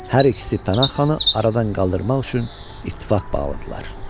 Hər ikisi Pənah xanı aradan qaldırmaq üçün ittifaq bağladılar.